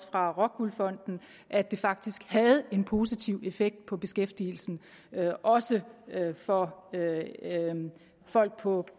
fra rockwool fonden at det faktisk havde en positiv effekt på beskæftigelsen også for folk på